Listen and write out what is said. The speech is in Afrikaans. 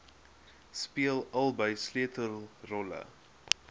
speel albei sleutelrolle